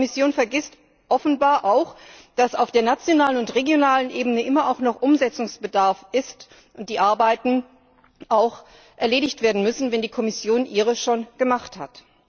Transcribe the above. Die Kommission vergisst offenbar auch, dass auf der nationalen und regionalen Ebene immer auch noch Umsetzungsbedarf besteht und die Arbeiten auch erledigt werden müssen, wenn die Kommission ihre schon gemacht hat.